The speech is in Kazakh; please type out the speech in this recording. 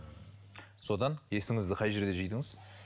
содан есіңізді қай жерде жидыңыз